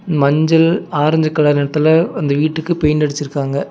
மஞ்சள் orange colour நெறத்துல அந்த வீட்டுக்கு பெயிண்டு அடிச்சிருக்காங்க.